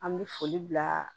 An bɛ foli bila